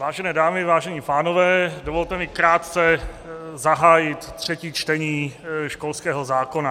Vážené dámy, vážení pánové, dovolte mi krátce zahájit třetí čtení školského zákona.